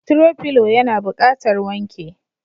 "throw pillow" yana buƙatar wanke.